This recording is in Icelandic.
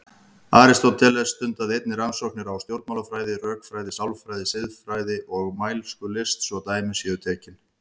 Aristóteles stundaði einnig rannsóknir í stjórnmálafræði, rökfræði, sálfræði, siðfræði og mælskulist svo dæmi séu tekin.